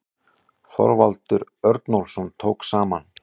Þorvaldur Örnólfsson tók saman.